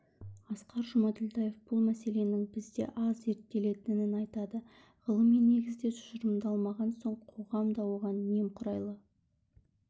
асқар жұмаділдаев бұл мәселенің бізде аз зерттелетінін айтады ғылыми негізде тұжырымдалмаған соң қоғам да оған немқұрайлы